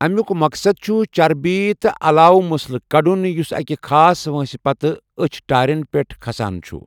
اَمیُوک مقصَد چھُ چربی تہٕ علاوٕ مٔسلہٕ کڑُن یُس اَکہِ خاص وٲنٛسہِ پتہٕ أچھ تٲرٮ۪ن پٮ۪ٹھ كھسان چھُ۔